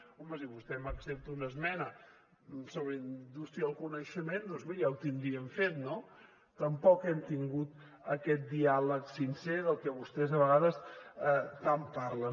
home si vostè m’accepta una esmena sobre indústria del coneixement doncs miri ja ho tindríem fet no tampoc hem tingut aquest diàleg sincer del que vostès a vegades tant parlen